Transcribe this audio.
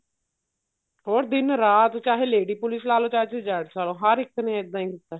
ਹੋਰ ਦਿਨ ਰਾਤ ਚਾਹੇ lady police ਲਾਲੋ ਚਾਹੇ ਤੁਸੀਂ gents ਲਾਲੋ ਹਰ ਇੱਕ ਨੇ ਇੱਦਾਂ ਈ ਕੀਤਾ